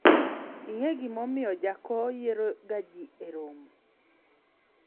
ing'e gima omiyo jako yiero ga jii e romo